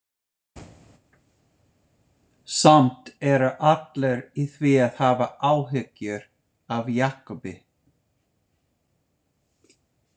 Samt eru allir í því að hafa áhyggjur af Jakobi.